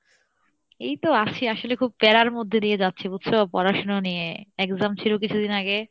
এইতো আসি আসলে খুব প্যারার মধ্যে দিয়ে যাচ্ছি বুঝছো, পড়াশুনো নিয়ে exam ছিলো কিছুদিন আগে,